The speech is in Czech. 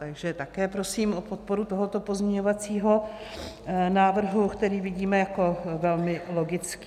Takže také prosím o podporu tohoto pozměňovacího návrhu, který vidíme jako velmi logický.